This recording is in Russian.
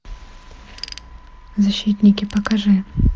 защитники покажи